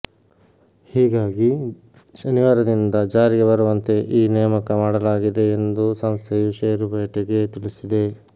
ಹೀಗಾಗಿ ಶನಿವಾರದಿಂದ ಜಾರಿಗೆ ಬರುವಂತೆ ಈ ನೇಮಕ ಮಾಡಲಾಗಿದೆ ಎಂದು ಸಂಸ್ಥೆಯು ಷೇರುಪೇಟೆಗೆ ತಿಳಿಸಿದೆ